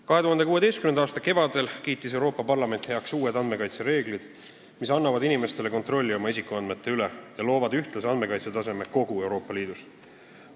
2016. aasta kevadel kiitis Euroopa Parlament heaks uued andmekaitse reeglid, mis annavad inimestele kontrolli oma isikuandmete üle ja loovad ühtlase andmekaitsetaseme kogu Euroopa Liidus.